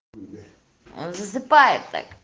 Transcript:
засыпает так